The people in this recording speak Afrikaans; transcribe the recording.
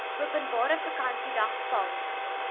openbare vakansiedag val